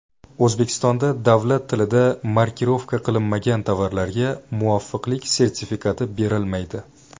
O‘zbekistonda davlat tilida markirovka qilinmagan tovarlarga muvofiqlik sertifikati berilmaydi.